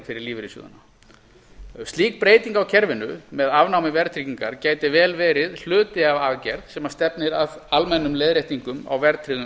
fyrir lífeyrissjóðina slík breyting á kerfinu með afnámi verðtryggingar gæti vel verið hluti af aðgerð sem stefnir að almennum leiðréttingum á verðtryggðum